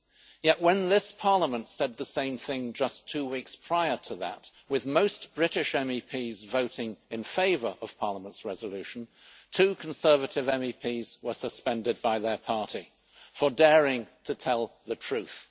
Yet when this Parliament said the same thing just two weeks prior to that, with most British MEPs voting in favour of Parliament's resolution, two Conservative MEPs were suspended by their party for daring to tell the truth.